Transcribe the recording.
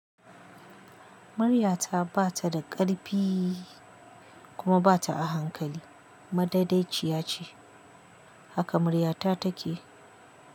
Muryata ba ta da ƙarpi kuma ba ta a hankali. Madadaciya ce, haka muryata take.